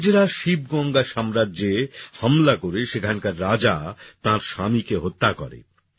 ইংরেজরা শিবগঙ্গা সাম্রাজ্যে হামলা করে সেখানকার রাজা তাঁর স্বামীকে হত্যা করে